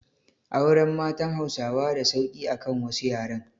Auren matan Hausawa da sauki akan wasu yaren